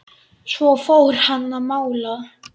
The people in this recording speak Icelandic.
Svo fór hann að mála.